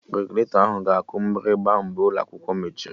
Regụlatọ ahụ ga-aku mgbịrịgba mgbe ụlọ akwụkwọ mechiri